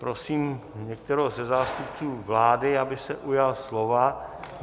Prosím některého ze zástupců vlády, aby se ujal slova.